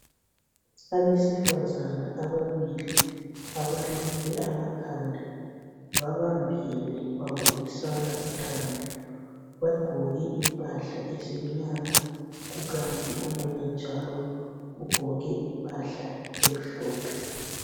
Abesifazana ababili abaluke amakhanda babambene babonisana uthando. Bagqoke imphahla ezimnyama kukanti omunye njalo ugqoke impahla emhlophe.